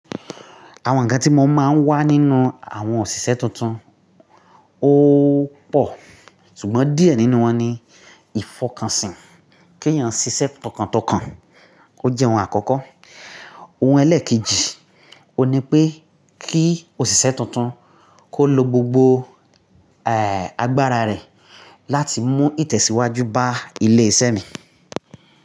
Àwọn ǹkan tí mo máa ń wá nínú àwọn òṣìṣẹ́ tuntun ó pọ̀, ṣùgbọ́n díẹ̀ nínú wọn ni ìfọkànsìn kí èèyàn ṣiṣẹ́ tọkàntọkàn, kó jẹ́ ohun àkọ́kọ́. Ohun ẹlẹ́ẹ̀kejì, ó ní pé kí òṣìṣẹ́ tuntun kó lo gbogbo agbára rẹ̀ láti mú ìtẹ̀síwájú bá ilé iṣẹ́ mi.